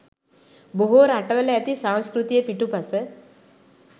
බොහෝ රටවල ඇති සංස්කෘතිය පිටුපස